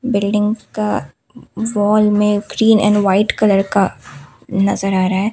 Building का wall में green and white colour का नजर आ रहा है।